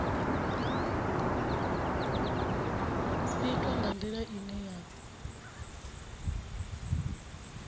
itwa nga ndila ine ya